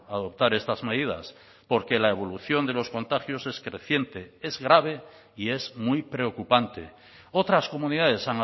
adoptar estas medidas porque la evolución de los contagios es creciente es grave y es muy preocupante otras comunidades